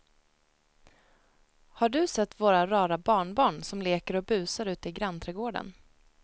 Har du sett våra rara barnbarn som leker och busar ute i grannträdgården!